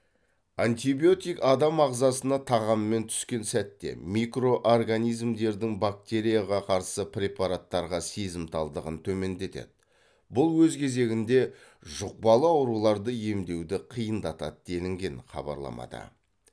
антибиотик адам ағзасына тағаммен түскен сәтте микроорганизмдердің бактерияға қарсы препараттарға сезімталдығын төмендетеді бұл өз кезегінде жұқпалы ауруларды емдеуді қиындатады делінген хабарламада